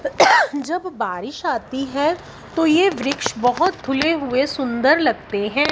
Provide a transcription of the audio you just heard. जब बारिश आती है तो ये वृक्ष बहोत धुले हुए सुंदर लगते हैं।